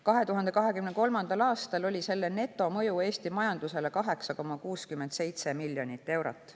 2023. aastal oli selle netomõju Eesti majandusele 8,67 miljonit eurot.